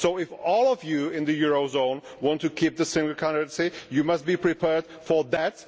If all of you in the eurozone want to keep the same currency you must be prepared for that